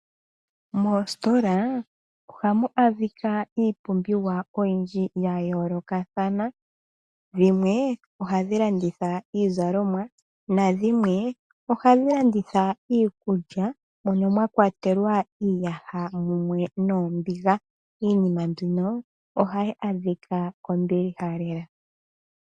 Mositola ohamu adhika iipumbiwa oyindji ya yoolokathana, dhimwe ohadhi landitha iizalomwa, nadhimwe ohadhi landitha iikulya moka mwa kwatelwa iiyaha mumwe noombiga. Iinima mbika ohayi adhika kombiliha lela.